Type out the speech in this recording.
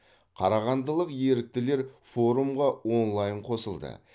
қарағандылық еріктілер форумға онлайн қосылды